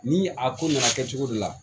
Ni a ko nana kɛ cogo de la